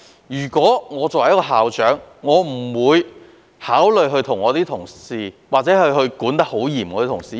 如果我是校長，我也不會對我的同事施加嚴厲的管理。